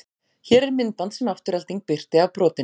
Hér er myndband sem Afturelding birti af brotinu.